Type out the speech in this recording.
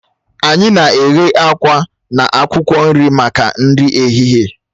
Anyị na-eghe àkwá na akwụkwọ nri maka nri ehihie